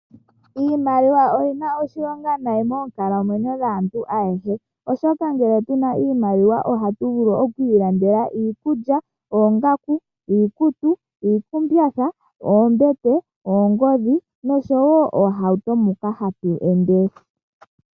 Iimaliwa oyi na oshilonga moonkalamwenyo dhaantu ayehe oshoka ngele tu na iimaliwa ohatu vulu oku ilandela iikulya, iikutu, oongaku, iikumbatha, oombete, oongodhi noshowo oohauto moka hatu ende.